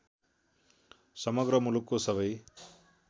समग्र मुलुकको सबै